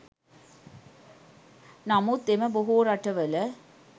නමුත් එම බොහෝ රටවල